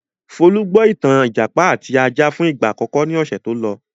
Folú gbọ́ ìtàn 'Ìjàpá àti Ajá' fún ìgbà àkọ́kọ́ ní ọ̀sẹ̀ tó lọ.